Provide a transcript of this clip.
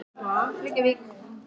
Hvaða leikmann hefðir þú viljað slá?